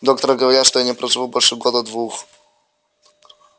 доктора говорят что я не проживу больше года-двух